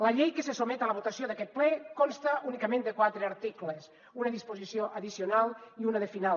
la llei que se sotmet a la votació d’aquest ple consta únicament de quatre articles una disposició addicional i una de final